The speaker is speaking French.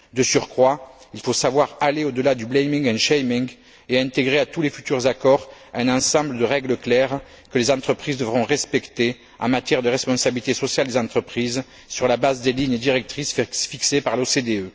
De surcroît, il faut savoir aller au delà du blaming and shaming et intégrer à tous les futurs accords un ensemble de règles claires que les entreprises devront respecter en matière de responsabilité sociale des entreprises sur la base des lignes directrices fixées par l'OCDE.